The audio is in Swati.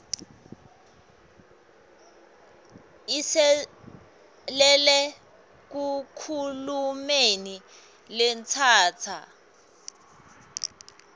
inselele enkhulumeni letsatsa